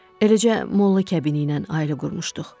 Eləcə molla kəbiniylə ailə qurmuşduq.